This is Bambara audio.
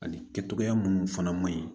Ani kɛcogoya munnu fana man ɲi